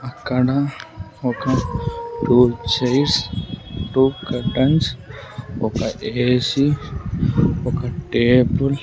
అక్కడ ఒక two chairs two curtains ఒక ఏ_సి ఒక టేబుల్ .